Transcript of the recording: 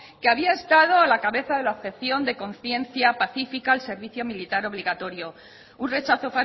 que había estado a la cabeza de la objeción de conciencia pacífica al servicio militar obligatorio un rechazo